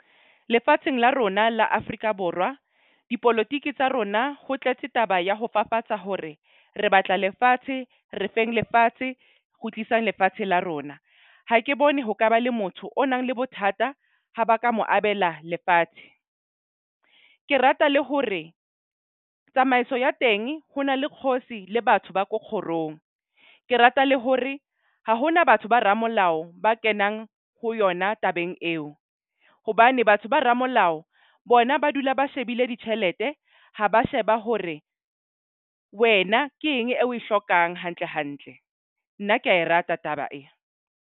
Lefatsheng la rona la Afrika Borwa dipolotiki tsa rona ho tletse taba ya ho fafatsa hore re batla lefatshe re feng lefatshe, kgutlisang lefatshe la rona. Ha ke bone ho kaba le motho o nang le bothata ha ba ka mo abela lefatshe. Ke rata le hore tsamaiso ya teng ho na le kgosi le batho ba ko kgorong. Ke rata le hore ha hona batho ba ramolao ba kenang ho yona tabeng eo. Hobane batho ba ramolao bona ba dula ba shebile ditjhelete, ha ba sheba hore wena ke eng e o e hlokang hantle hantle. Nna ke a e rata taba e.